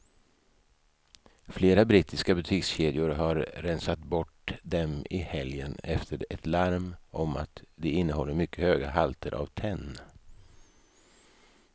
Flera brittiska butikskedjor har rensat bort dem i helgen efter ett larm om att de innehåller mycket höga halter av tenn.